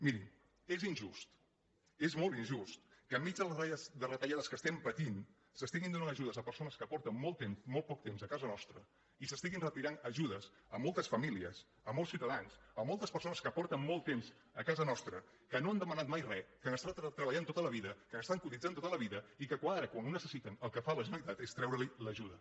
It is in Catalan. miri és injust és molt injust que enmig de retallades que estem patint s’estiguin donant ajudes a persones que són fa molt poc temps a casa nostra i s’estiguin retirant ajudes a moltes famílies a molts ciutadans a moltes persones que són fa molt temps a casa nostra que no han demanat mai re que han estat treballant tota la vida que han estat cotitzant tota la vida i que ara quan ho necessiten el que fa la generalitat és treure’ls l’ajuda